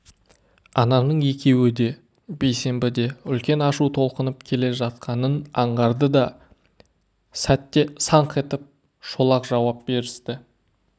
ананың екеуі де бейсенбі де үлкен ашу толқынып келе жатқанын аңғарды да сәтте саңқ етіп шолақ жауап берісті